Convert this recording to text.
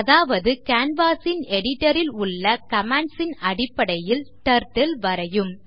அதாவது canvas ன் editor ல் உள்ள commands ன் அடிப்படையில் டர்ட்டில் வரையும்